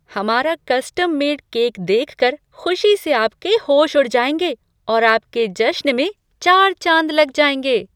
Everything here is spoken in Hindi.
हमारा कस्टम मेड केक देखकर खुशी से आपके होश उड़ जाएंगे और आपके जश्न में चार चांद लग जाएंगे।